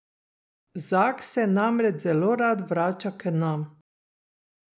Zak se namreč zelo rad vrača k nam.